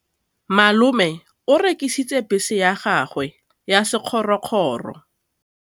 Malome o rekisitse bese ya gagwe ya sekgorokgoro.